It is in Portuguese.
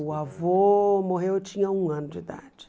O avô morreu, eu tinha um ano de idade.